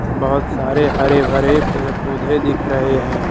बहोत सारे हरे भरे पेड़ पौधे दिख रहे हैं।